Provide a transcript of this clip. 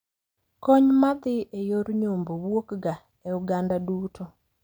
Kony ma dhi e yor nyombo wuok ga e oganda duto.